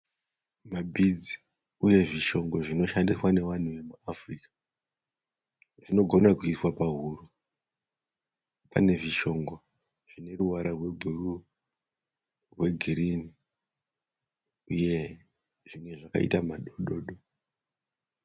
Mabhidzi uye zvishongo zvinoshandiswa nevanhu vekuAfrica. Zvinogona kuiswa pahuro. Pane zvishongo zvine ruvara rwebhuruu, rwegirinhi uye zvimwe zvakaita madododo.